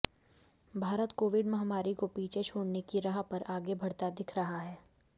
Bharat Covid महामारी को पीछे छोडऩे की राह पर आगे बढ़ता दिख रहा है